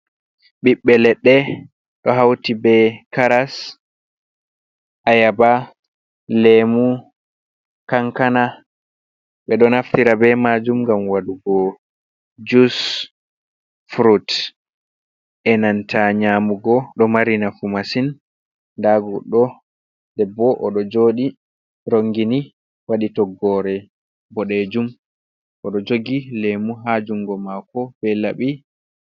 Bibbe ledɗe do hauti be Karas, Ayaba, Lemu, Kankana, ɓeɗo naftira be majum gam wadugo jus, frut, e nanta nyamugo ɗo mari nafu masin, da godɗo debbo oɗo joɗi rongini wadi toggore bodejum, odo jogi Lemu ha jungo mako be Laɓi.